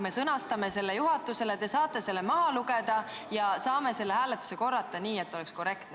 Me sõnastame oma ettepaneku juhatusele, te saate selle maha lugeda ja me saame teha uue hääletuse, nii et kõik oleks korrektne.